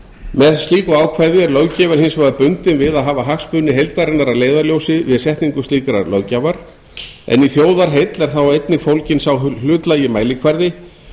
með slíku ákvæði er löggjafinn hins vegar bundinn við að hafa hagsmuni heildarinnar að leiðarljósi við setningu slíkrar löggjafar en í þjóðarheill er þá einnig fólginn sá hlutlægi mælikvarði